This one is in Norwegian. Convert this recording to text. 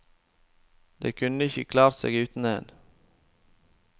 De kunne ikke klart seg uten én.